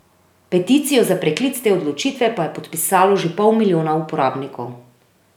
Peticijo za preklic te odločitve pa je podpisalo že pol milijona uporabnikov.